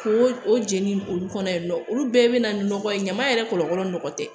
Ko o jeni olu kɔnɔ yen nɔ olu bɛɛ bɛ na nɔgɔ ye ɲaman yɛrɛ kɔlɔlɔ nɔgɔ tɛ